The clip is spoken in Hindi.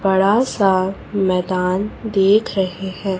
बड़ा सा मैदान देख रहे हैं।